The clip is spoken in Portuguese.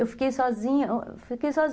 Eu fiquei sozinha